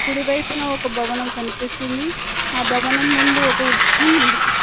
కుడి వైపున ఒక భవనం కనిపిస్తుంది ఆ భవనం ముందు ఒక వృక్షం ఉంది.